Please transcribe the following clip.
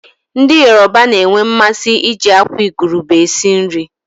Ndị Yoroba na-enwe mmasị iji àkwá igurube esi nri.